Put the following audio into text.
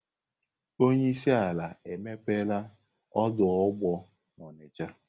Onye isi ala emepela ọdụ ụgbọ Onitsha.